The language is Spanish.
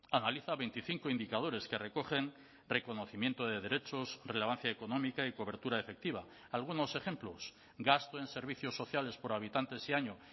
analiza veinticinco indicadores que recogen reconocimiento de derechos relevancia económica y cobertura efectiva algunos ejemplos gasto en servicios sociales por habitantes y año